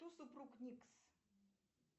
кто супруг никс